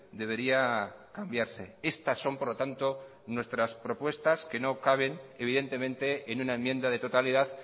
debería cambiarse estas son por lo tanto nuestras propuestas que no caben evidentemente en una enmienda de totalidad